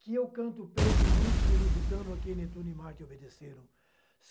Que eu canto o peito ilustre e lusitano a quem Netuno e Marte obedeceram.